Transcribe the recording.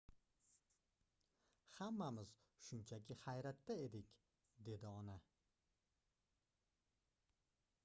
hammamiz shunchaki hayratda edik dedi ona